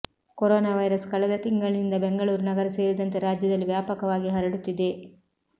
corona virus ಕಳೆದ ತಿಂಗಳಿನಿಂದ ಬೆಂಗಳೂರು ನಗರ ಸೇರಿದಂತೆ ರಾಜ್ಯದಲ್ಲಿ ವ್ಯಾಪಕವಾಗಿ ಹರಡುತ್ತಿದೆ